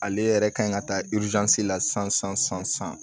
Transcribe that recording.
Ale yɛrɛ kan ka taa la san san san san